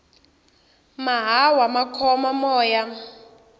mahawu ma khoma moya